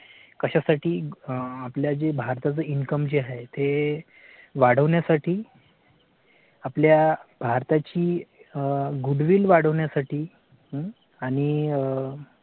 कश्यासाठी आपल्या जे भारता चं income जे आहे ते वाढवण्यासाठी. आपल्या भारताची ग good will वाढवण्यासाठी आणि आह.